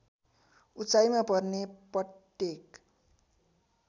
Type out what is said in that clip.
उचाइमा पर्ने पट्टेक